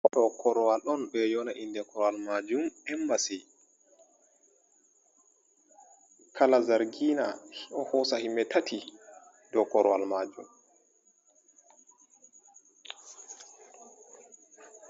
Dow korowal ɗon, ɓe ɗon ƴowna innde korowal maajum emmbasi. Kala zargiina ɗo hoosa yimɓe tati dow korowal maajum.